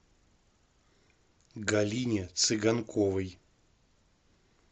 галине цыганковой